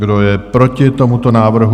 Kdo je proti tomuto návrhu?